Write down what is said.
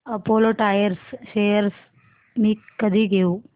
Apollo Tyres shares मी कधी घेऊ